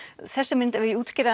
þessi mynd ef ég útskýri